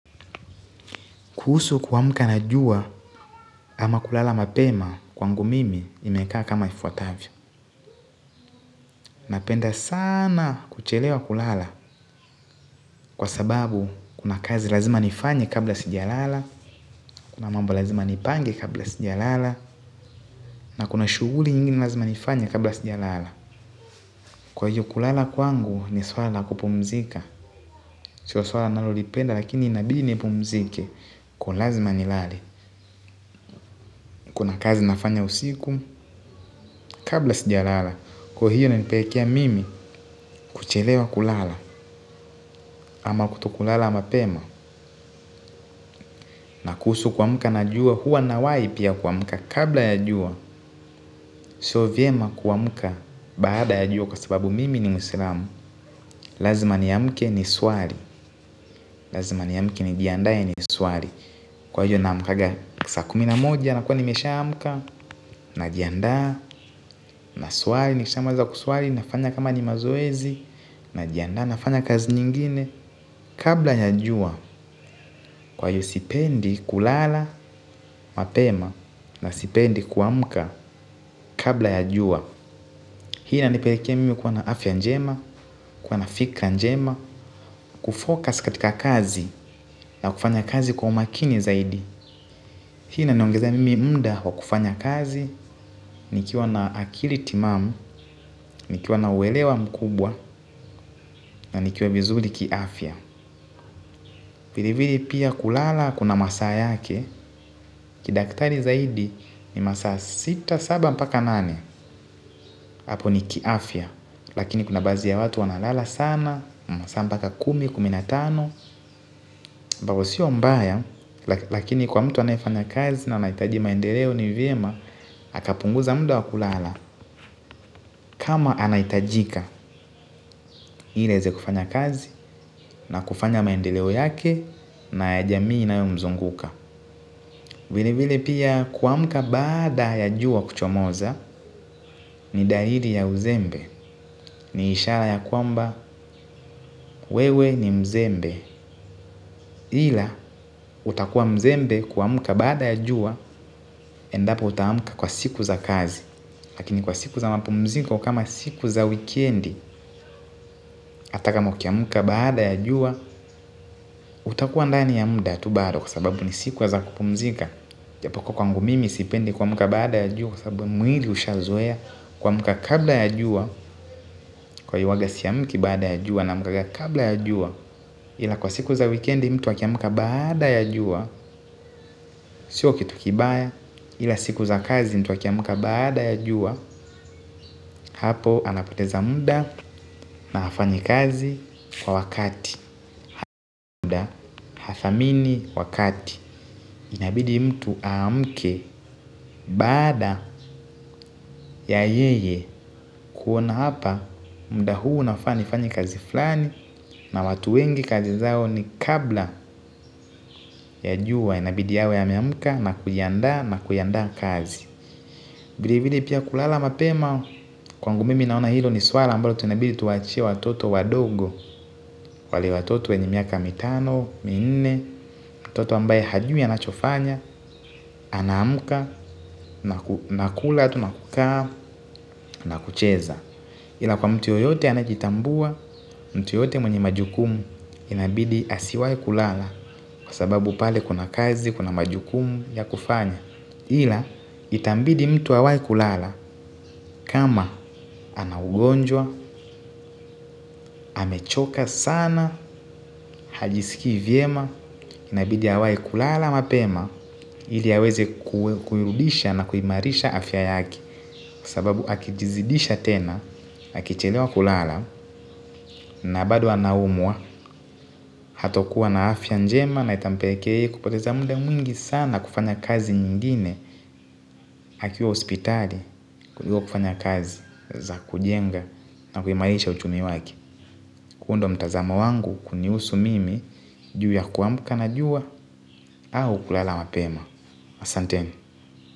Kuhusu kuamka na jua ama kulala mapema kwangu mimi imekaa kama ifuatavyo. Napenda sana kuchelewa kulala kwa sababu kuna kazi lazima nifanye kabla sija lala. Kuna mambo lazima nipange kabla sija lala. Na kuna shughuli nyingi lazima nifanye kabla sija lala. Kwa hiyo kulala kwangu ni swala la kupumzika. Sio swala nalolipenda lakini inabidi ni pumzike kwa lazima nilale. Kuna kazi nafanya usiku kabla sija lala. Kwa hiyo ina nipelekea mimi kuchelewa kulala. Ama kuto kulala mapema. Na kuhusu kuamka na jua huwa nawai pia kuamka. Kabla ya jua sio vyema kuamka. Baada ya jua kwa sababu mimi ni mwislamu. Lazima ni amke ni swali. Lazima ni amke nijiandae ni swali. Kwa hiyo na amkaga saa kumi na moja. Nakua nimesha amka. Najianda na swali ni kisha maliza kuswali. Na fanya kama ni mazoezi. Na jianda nafanya kazi nyingine. Kabla ya jua. Kwa hiyo sipendi kulala, mapema na sipendi kuamka kabla ya jua. Hii ina nipelekea mimi kuwana afya njema, kuwana fikra njema. Kufocus katika kazi na kufanya kazi kwa umakini zaidi. Hii ina niongezea mimi muda kwa kufanya kazi. Nikiwa na akili timamu, nikiwa na uelewa mkubwa. Na nikiwa vizuri kiafya vile vile pia kulala kuna masaa yake kidaktari zaidi ni masaa sita saba mpaka nane hapo ni kiafya lakini kuna baadhi ya watu wanalala sana masaa mpaka kumi, kumi na tano ambapo sio mbaya, lakini kwa mtu anaye fanya kazi na anaitaji maendeleo ni vyema, akapunguza muda wa kulala, kama anaitajika, ile aeze kufanya kazi, na kufanya maendeleo yake, na ya jamii inayo mzunguka. Vilevile pia kuamka baada ya jua kuchomoza ni dalili ya uzembe ni ishara ya kwamba wewe ni mzembe ila itakuwa mzembe kuamka baada ya jua endapo uta amka kwa siku za kazi lakini kwa siku za mapumziko kama siku za wikendi ata kama ukiamka baada ya jua utakuwa ndani ya muda tu bado kwa sababu ni siku ya za kupumzika japo kuwa kwangu mimi sipendi kuamka baada ya jua kwa sababu mwili usha zoea kuamka kabla ya jua kwa hiyo huwaga si amki baada ya jua na amka kabla ya jua ila kwa siku za wikendi mtu wakiamka baada ya jua. Sio kitu kibaya ila siku za kazi mtu wakiamka baada ya jua. Hapo anapoteza muda na hafanyi kazi kwa wakati. Muda hathamini wakati. Inabidi mtu amke baada ya yeye kuona hapa. Muda huu nafani fanye kazi flani na watu wengi kazi zao ni kabla ya jua. Inabidi awe ame amka na kujianda na kuianda kazi vilevile pia kulala mapema kwangu mimi naona hilo ni swala mbalo tunabidu tuwa achie watoto wadogo. Wale watoto wenye miaka mitano, minne, mtoto ambaye hajui anachofanya, ana amka, nakula, tu nakukaa, nakucheza ila kwa mtu yeyote anajitambua, mtu yeyote mwenye majukumu inabidi asiwai kulala. Kwa sababu pale kuna kazi, kuna majukumu ya kufanya ila itambidi mtu awai kulala kama ana ugonjwa, amechoka sana, hajisiki vyema, inabidi awai kulala mapema ili aweze kuirudisha na kuimarisha afya yake sababu akijizidisha tena, akichelewa kulala na bado anaumwa hatokuwa na afya njema na itampelekea yeye kupoteza muda mwingine sana kufanya kazi nyingine. Akiwa hospitali, kuliko kufanya kazi za kujenga na kuimarisha uchumi wake. Kuundwa mtazamo wangu kunihusu mimi juu ya kuamka na jua au kulala mapema Asanteni.